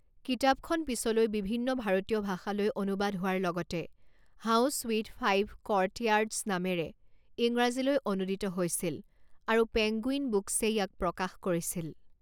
কিতাপখন পিছলৈ বিভিন্ন ভাৰতীয় ভাষালৈ অনুবাদ হোৱাৰ লগতে হাউচ উইথ ফাইভ কৰ্টয়াৰ্ডচ নামেৰে ইংৰাজীলৈ অনূদিত হৈছিল আৰু পেংগুইন বুকচে ইয়াক প্ৰকাশ কৰিছিল।